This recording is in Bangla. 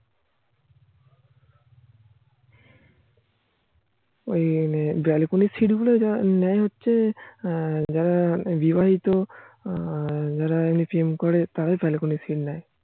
ওই মানে balcony র সিট্ গুলো নেয় হচ্ছে যারা বিবাহিত আর যারা এমনি প্রেম কোরিয়া তারাই balcony র সিট্ নেয়